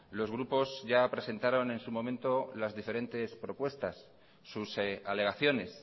los grupos ya presentaron en su momento las diferentes propuestas sus alegaciones